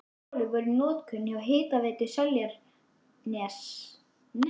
Fjórar holur voru í notkun hjá Hitaveitu Seltjarnarness.